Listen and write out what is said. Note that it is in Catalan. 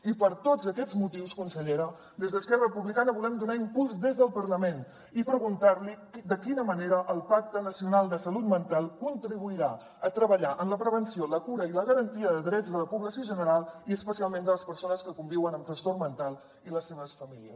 i per tots aquests motius consellera des d’esquerra republicana hi volem donar impuls des del parlament i preguntar li de quina manera el pacte nacional de salut mental contribuirà a treballar en la prevenció la cura i la garantia de drets de la població general i especialment de les persones que conviuen amb trastorn mental i les seves famílies